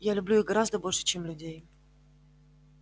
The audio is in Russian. я люблю их гораздо больше чем людей